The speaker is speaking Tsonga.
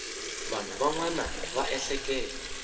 vanhu van wana va ehleketa